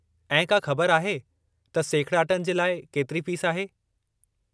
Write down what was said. ऐं का ख़बर आहे त सेखिड़ाटनि जे लाइ केतिरी फ़ीस आहे?